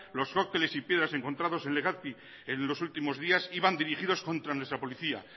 los cócteles y piedras encontrados en legazpi en los últimos días iban dirigidos contra nuestra policía